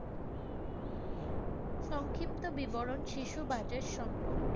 সংক্ষিপ্ত বিবরণ শিশু budget সম্পর্কে।